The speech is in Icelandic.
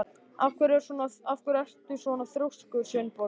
Af hverju ertu svona þrjóskur, Sveinborg?